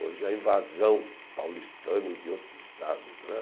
Hoje é a invasão paulistana e de outros estados né.